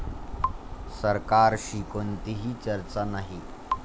सरकारशी कोणतीही चर्चा नाही'